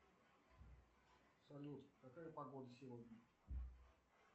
салют какая погода сегодня